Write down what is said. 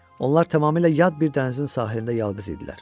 Onlar tamamilə yad bir dənizin sahilində yalqız idilər.